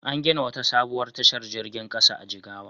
An gina wata sabuwar tashar jirgin ƙasa a Jigawa.